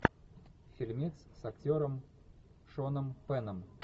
фильмец с актером шоном пенном